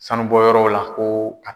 Sanubɔ yɔrɔw la ko